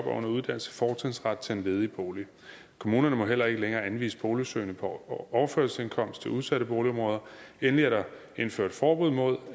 under uddannelse fortrinsret til en ledig bolig kommunerne må heller ikke længere anvise boligsøgende på overførselsindkomst til udsatte boligområder endelig er der indført forbud mod